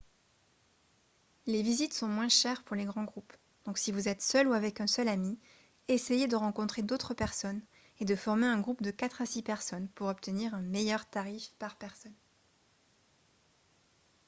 les visites sont moins chères pour les grands groupes donc si vous êtes seul ou avec un seul ami essayez de rencontrer d'autres personnes et de former un groupe de quatre à six personnes pour obtenir un meilleur tarif par personne